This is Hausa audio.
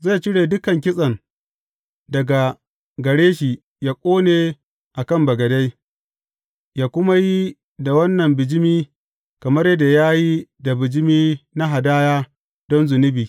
Zai cire dukan kitsen daga gare shi yă ƙone a kan bagade, yă kuma yi da wannan bijimi kamar yadda ya yi da bijimi na hadaya don zunubi.